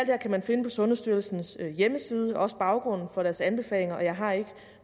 her kan man finde på sundhedsstyrelsens hjemmeside også baggrunden for deres anbefalinger jeg har ikke